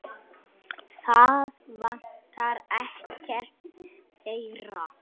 Það vantar ekkert þeirra.